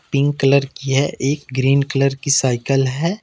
Pink colour की है एक ग्रीन कलर की साइकल है।